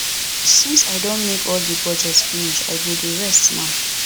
since i don make all the budget finish i go dey rest now